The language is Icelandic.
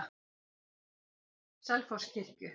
Selfosskirkju